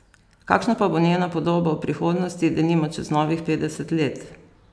Kakšna pa bo njena podoba v prihodnosti, denimo čez novih petdeset let ?